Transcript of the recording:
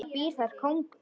Það býr þar kóngur.